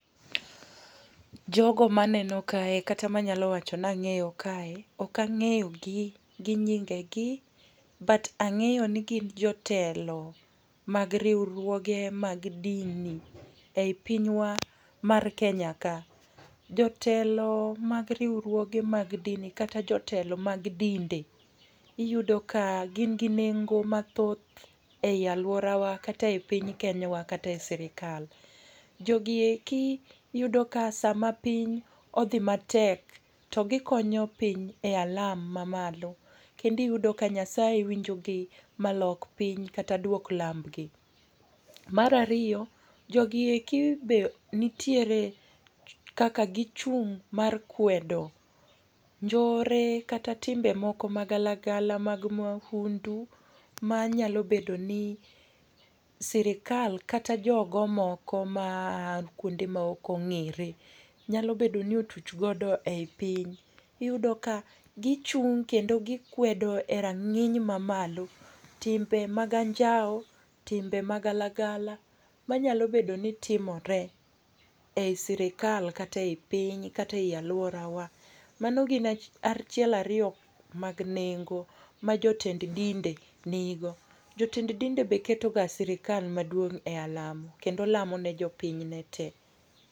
Jogo maneno kae kata manyalo wacho ni ang'eyo kae, ok ang'eyo gi gi nyingegi, but ang'eyo ni gin jotelo, mag riwruoge mag dini ei pinywa mar Kenya ka. Jotelo mag riwruoge mag dini, kata jotelo mag dinde, iyudo ka gin gi nengo mathoth ei alworawa kata ei piny Kenywa kata ei sirkal. Jogi eki iyudo ka sama piny odhi matek to gikonyo piny e alam mamalo'. Kendo iyudo ka Nyasaye winjogi, ma lok piny duok kata winj lambgi. Mar ariyo, jogi eki be nitiere kaka gichung' mar kwedo njore kata timbe moko magalagala mag mahundu, manyalo bedo ni sirkal kata jogo moko maa kwonde ma ok ong'ere nyalo bedo ni otuch godo ei piny. Iyudo ka gichung' kendo gikwedo erang'iny mamalo timbe mag anjawo, timbe magalagala manyalo bedo ni timore ei sirkal kata ei piny, kata ei alwora wa. Mano gin, achiel ariyo mag nengo ma jotend dinde nigo. Jotend dinde be keto ga sirkal maduong' e alamo, kendo lamo ne jopiny ne te.